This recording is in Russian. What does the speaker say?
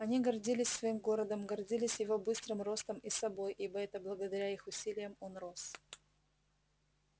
они гордились своим городом гордились его быстрым ростом и собой ибо это благодаря их усилиям он рос